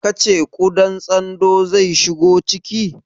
Ka ce ƙudan tsandon zai shigo ciki?